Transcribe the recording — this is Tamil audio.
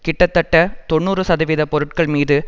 கிட்டத்தட்ட தொன்னூறு சதவிகித பொருட்கள் மீது